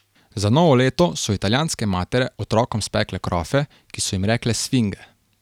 Za novo leto so italijanske matere otrokom spekle krofe, ki so jim rekle sfinge.